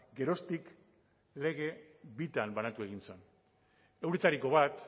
geroztik lege bitan banatu egin zen euretariko bat